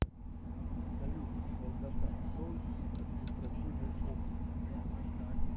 салют долгота троицкий административный округ